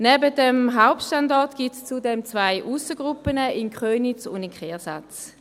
Neben diesem Hauptstandort gibt es zudem zwei Aussengruppen, in Köniz und in Kehrsatz.